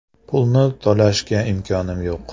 Pulni to‘lashga imkonim yo‘q.